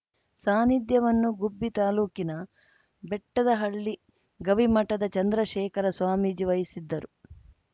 ಸಾನ್ನಿಧ್ಯವನ್ನು ಗುಬ್ಬಿ ತಾಲೂಕಿನ ಬೆಟ್ಟದಹಳ್ಳಿ ಗವಿಮಠದ ಚಂದ್ರಶೇಖರ ಸ್ವಾಮೀಜಿ ವಹಿಸಿದ್ದರು